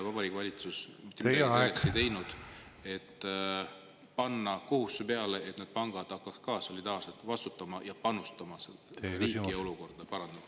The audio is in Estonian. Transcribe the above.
Vabariigi Valitsus ei teinud midagi, et panna peale kohustusi, nii et need pangad hakkaksid solidaarselt vastutama ja panustama, selleks et riigi olukord paraneks.